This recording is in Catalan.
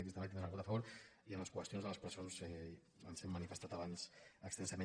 aquest també tindrà el vot a favor i en les qüestions de les presons ens hem manifestat abans extensament